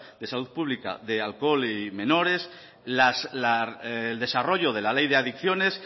de salud pública de alcohol y menores el desarrollo de la ley de adicciones